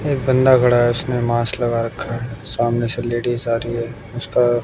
एक बंदा खड़ा है उसने मास्क लगा रखा है सामने से लेडिस आ रही है उसका--